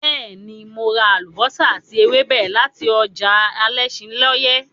Bẹ́ẹ̀ ni, mo ra àlùbọ́sà àti ewébẹ̀ láti ọjà alẹ́ṣinlọ́yẹ́.